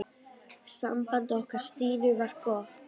Samband okkar Stínu var gott.